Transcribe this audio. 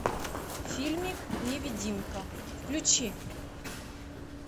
фильмик невидимка включи